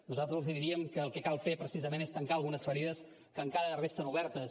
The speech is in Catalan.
nosaltres els diríem que el que cal fer precisament és tancar algunes ferides que encara resten obertes